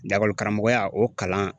Lakɔlikaramɔgɔya o kalan